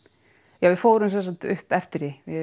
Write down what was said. já við fórum sem sagt upp eftir því við